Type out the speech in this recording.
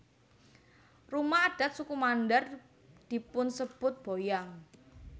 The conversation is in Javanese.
Rumah adat suku Mandar dipunsebut boyang